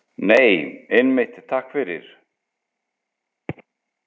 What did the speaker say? Nei, einmitt, takk fyrir.